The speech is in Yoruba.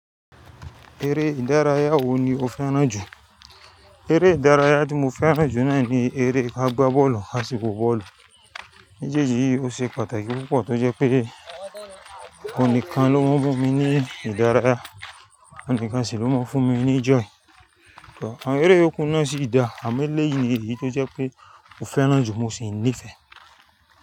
Eré ìdárayá wo ni o fẹ́ràn jù? Eré ìdárayá tí mo fẹ́ràn jù naà ní eré kagbá bọ́ọ̀lù kàsì wò bọ́ọ̀lù. Mejeji yìí ó ṣe pàtàkì púpọ̀ tí ó jẹ́ pé oun nìkan ló máa ń mún mi ní ìdárayá, ouǹ nikan sì ló máa ń fún mi ní joy. Ṣùgbọ́n àwọn eré iyoku náà sì dá, àmọ́ léyìí ni èyí tó jẹ́ pé mo fẹ́ràn jù mo sì nífẹ̀ẹ́.